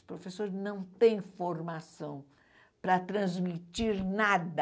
Os professores não têm formação para transmitir nada.